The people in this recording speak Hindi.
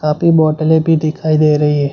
काफी बोतलें भी दिखाई दे रही है।